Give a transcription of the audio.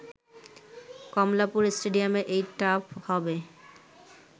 কমলাপুর স্টেডিয়ামের এই টার্ফ হবে